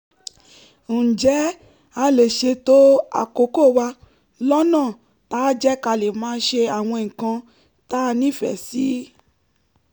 ǹjẹ́ a lè ṣètò àkókò wa lọ́nà táá jẹ́ ká lè máa ṣe àwọn nǹkan tá a nífẹ̀ẹ́ sí?